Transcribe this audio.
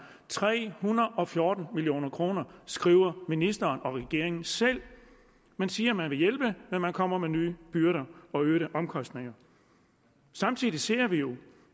tre hundrede og fjorten million kroner skriver ministeren og regeringen selv man siger at man vil hjælpe men man kommer med nye byrder og øgede omkostninger samtidig ser vi jo